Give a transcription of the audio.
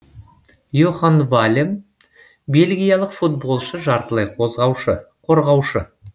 йохан валем бельгиялық футболшы жартылай қорғаушы